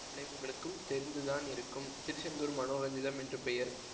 அவளை உங்களுக்கும் தெரிந்து தான் இருக்கும் திருச்செந்தூர் மனோரஞ்சிதம் என்று பெயர்